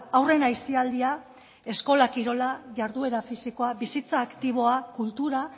haurren aisialdia eskola kirola jarduera fisikoa bizitza aktiboa kultura